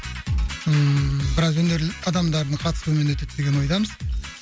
ммм біраз өнерлі адамдардың қатысуымен өтеді деген ойдамыз